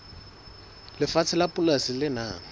lefatshe la polasi le nang